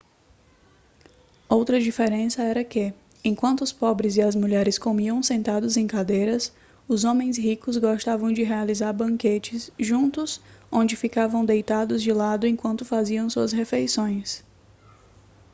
outra diferença era que enquanto os pobres e as mulheres comiam sentados em cadeiras os homens ricos gostavam de realizar banquetes juntos onde ficavam deitados de lado enquanto faziam suas refeições